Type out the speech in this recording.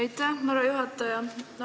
Aitäh, härra juhataja!